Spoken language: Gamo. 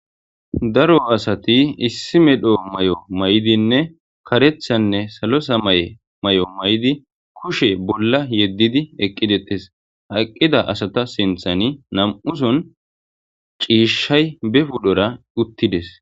Daro asati issi mala mayo mayidinne karethanne salo samaye mayo mayidi kushe bolla yeddidi eqqidi deetes. Ha eqqiza asata sinthani na'amuson ciishay bepudora uttides.